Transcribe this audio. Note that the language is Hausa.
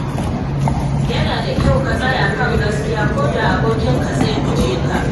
Yana da kyau ka tsaya kan gaskiya koda abokinka zai guje ka.